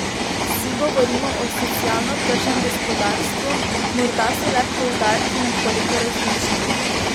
Vsi govorimo o socialno tržnem gospodarstvu, morda so le poudarki nekoliko različni.